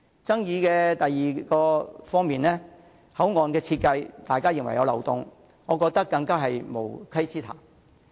第二方面的爭議是大家認為口岸設計有漏洞，我覺得更是無稽之談。